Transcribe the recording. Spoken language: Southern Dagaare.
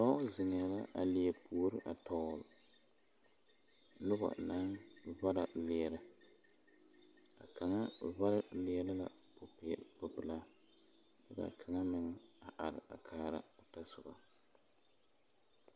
Dɔɔ zeŋɛɛ la a leɛ puori tɔgle noba naŋ vara leɛrɛ a ka kaŋa vare leɛre la popelaa kyɛ ka a kaŋa meŋ a are kaara o tɔsoba.